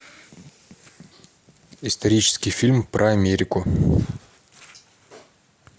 исторический фильм про америку